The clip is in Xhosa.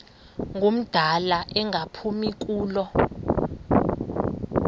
ngumdala engaphumi kulo